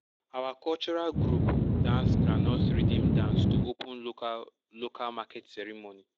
our cultural group dance groundnut rhythm dance to open local local market ceremony.